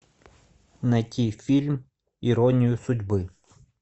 найти фильм иронию судьбы